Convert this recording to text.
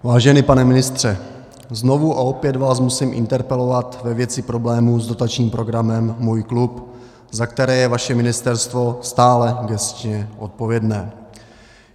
Vážený pane ministře, znovu a opět vás musím interpelovat ve věci problémů s dotačním programem Můj klub, za které je vaše ministerstvo stále gesčně odpovědné.